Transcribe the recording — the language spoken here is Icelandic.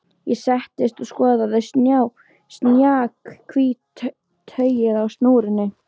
Ég settist og skoðaði snjakahvítt tauið á snúrunni.